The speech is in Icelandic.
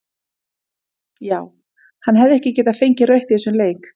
Já hefði hann ekki getað fengið rautt í þessum leik?